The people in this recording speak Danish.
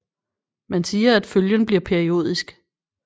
Man siger at følgen bliver periodisk